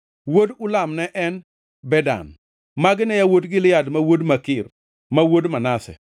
Wuod Ulam ne en: Bedan. Magi ne yawuot Gilead ma wuod Makir, ma wuod Manase.